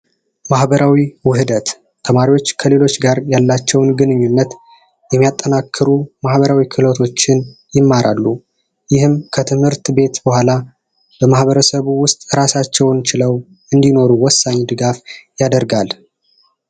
ማህበራዊ ውህደት ተማሪዎች ከሌሎች ጋር ያላቸውን ግንኙነት የሚያጠናክሩ ማህበራዊ ክህሎቶችን ይማራሉ። ይህም ከትምህርት ቤት በኋላ በማህበረሰቡ ውስጥ ራሳቸውን ችለው እንዲኖሩ ወሳኝ ድጋፍ ያደርጋል።